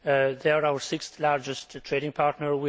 They are our sixth largest trading partner.